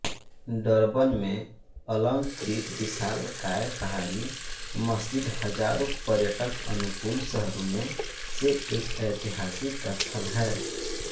Durban में अलंकृत विशालाकाय पहाड़ी मस्जिद हजारों पर्यटकअनुकूल शहरों में से एक ऐतिहासिक स्थल है